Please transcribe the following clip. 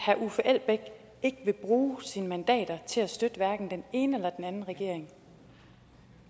at herre uffe elbæk ikke vil bruge sine mandater til at støtte hverken den ene eller den anden regering